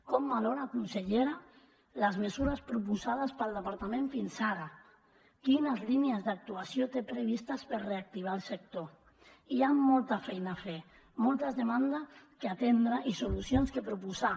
com valora consellera les mesures proposades pel departament fins ara quines línies d’actuació té previstes per reactivar el sector hi ha molta feina a fer moltes demandes a atendre i solucions a proposar